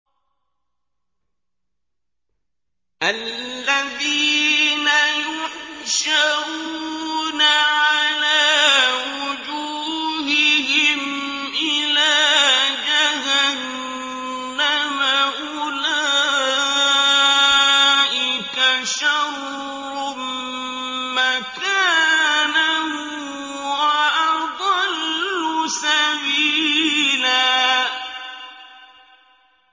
الَّذِينَ يُحْشَرُونَ عَلَىٰ وُجُوهِهِمْ إِلَىٰ جَهَنَّمَ أُولَٰئِكَ شَرٌّ مَّكَانًا وَأَضَلُّ سَبِيلًا